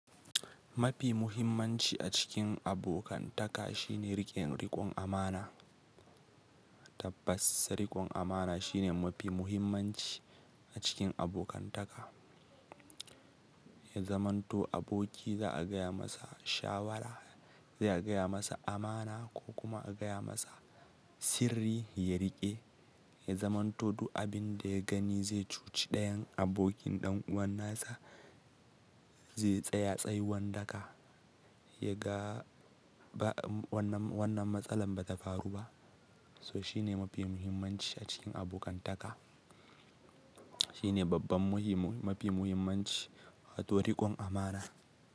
Mafi muhimmanci a cikin abokantaka shine riƙen riƙon amana. Tabbas, riƙon amana shine mafi muhimmanci a cikin abokantaka. Ya zamanto aboki za'a gaya masa shawara, zai a gaya masa amana ko kuma a gaya masa sirri ya riƙe. Ya zamanto duk abin da ya gani zai cuci ɗayan abokin ɗan uwansa zai tsaya tsayin daka. Ya ga wannan matsalar ba ta faru ba. So shine mafi muhimmanci a cikin abokantaka. Shi ne babban mafi muhimmanci wato riƙon amana.